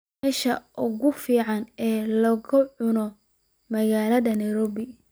meesha ugu fiican ee laga cuno magaalada nairobi